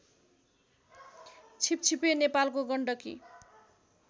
छिपछिपे नेपालको गण्डकी